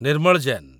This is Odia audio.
ନିର୍ମଳ ଜେନ୍